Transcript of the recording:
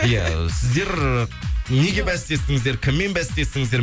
иә сіздер неге бәстестіңіздер кіммен бәстестіңіздер